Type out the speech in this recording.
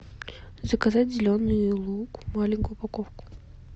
заказать зеленый лук маленькую упаковку